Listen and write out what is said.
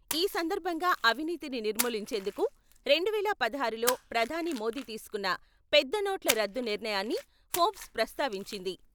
ఈ సందర్భంగా అవినీతిని నిర్మూలించేందుకు రెండువేల పదహారులో ప్రధాని మోదీ తీసుకున్న పెద్దనోట్ల రద్దు నిర్ణయాన్ని ఫోర్బ్స్ ప్రస్తావించింది.